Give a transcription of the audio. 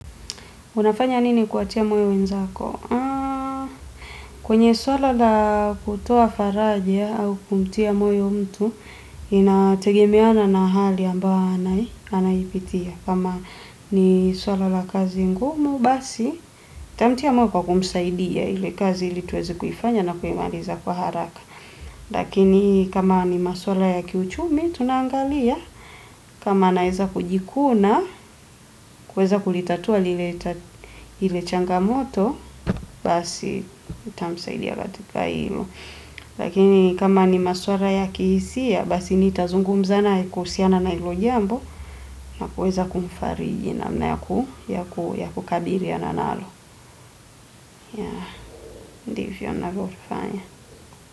Unafanya nini kuwatia moyo wenzako? Kwenye swala la kutoa faraja au kumtia moyo mtu, inategemeana na hali ambao anaipitia. Kama ni swala la kazi ngumu, basi, nitamtia moyo kwa kumsaidia ile kazi ili tuweze kuifanya na kuimaliza kwa haraka. Lakini kama ni maswala ya kiuchumi, tunaangalia. Kama naweza kujikuna, kuweza kulitatua lile changamoto, basi nitamsaidia katika hilo. Lakini kama ni maswala ya kihisia, basi nitazungumza naye kuhusiana na hilo jambo, na kuweza kumfariji namna ya kukabiliana nalo. Ya, ndivyo ninavyofanya.